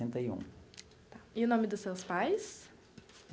Setenta e um. Tá, e o nome dos seus pais?